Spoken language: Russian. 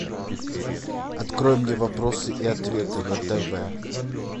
открой мне вопросы и ответы на тв